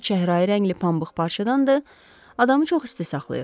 Biri çəhrayı rəngli pambıq parçadandır, adamı çox isti saxlayır.